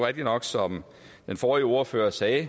rigtigt nok som den forrige ordfører sagde